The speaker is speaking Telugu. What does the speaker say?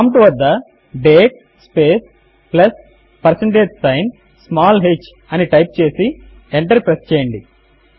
ప్రాంప్ట్ వద్ద date space plus percentage sign small h అని టైప్ చేసి ఎంటర్ ప్రెస్ చేయండి